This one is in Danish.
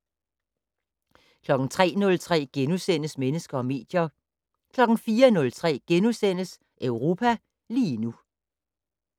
03:03: Mennesker og medier * 04:03: Europa lige nu *